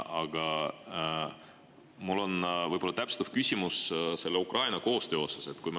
Aga mul on täpsustav küsimus Ukrainaga koostöö kohta.